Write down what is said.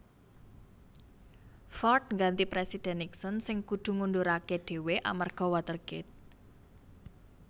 Ford ngganti Présidhèn Nixon sing kudu ngunduraké dhéwé amarga Watergate